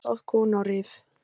Þyrla sótti konu á Rif